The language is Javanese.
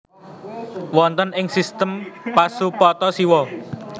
Wonten ing sistem Pasupata siwa